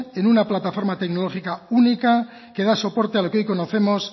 en una plataforma tecnológica única que da soporte a lo que hoy conocemos